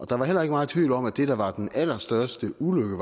der var heller ikke meget tvivl om at det der var den allerstørste ulykke